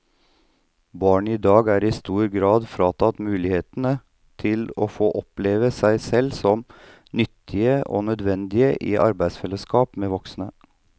Barn i dag er i stor grad fratatt mulighetene til å få oppleve seg selv som nyttige og nødvendige i et arbeidsfellesskap med voksne.